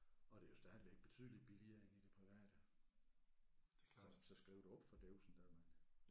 Og det er jo stadigvæk betydeligt billigere end i det private så så skriv dig op for dævsen da mand